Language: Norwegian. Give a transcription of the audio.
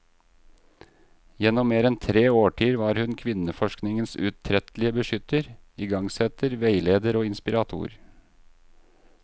Gjennom mer enn tre årtier var hun kvinneforskningens utrettelige beskytter, igangsetter, veileder og inspirator.